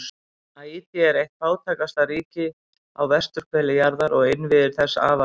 Haítí er eitt fátækasta ríki á vesturhveli jarðar og innviðir þess afar veikir.